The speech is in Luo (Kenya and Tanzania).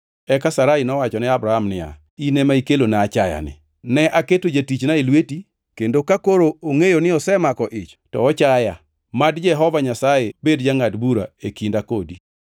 Eka Sarai nowacho ne Abram niya, “In ema ikelona achayani. Ne aketo jatichna e lweti, kendo ka koro ongʼeyo ni osemako ich to ochaya mad Jehova Nyasaye bed jangʼad bura e kinda kodi.”